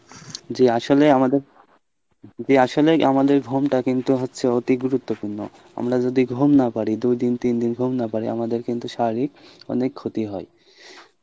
জি আসলে আমাদের, জি আসলে আমাদের ঘুমটা কিন্তু হচ্ছে অতি গুরুত্বপূর্ণ আমরা যদি ঘুম না পারি দুইদিন তিনদিন ঘুম না পারি আমাদের কিন্তু শারীরিক অনেক ক্ষতি হয়।